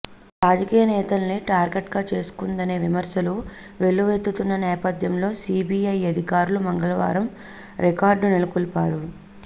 రాజకీయనేతల్ని target గా చేసుకుందనే విమర్శలు వెల్లువెత్తుతున్న నేపథ్యంలో సీబీఐ అధికారులు మంగళవారం రికార్డు నెలకొల్పారు